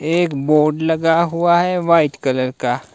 एक बोर्ड लगा हुआ है वाइट कलर का।